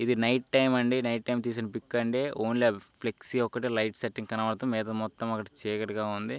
ఇది night time అండి. Night time తీసిన పిక్ అండి . ఓన్లీ ఫ్లెక్సీ ఒకటే లైట్ సెట్టింగ్ కనబడుతుంది. మిగతాదంతా మొత్తం చీకటిగా ఉంది.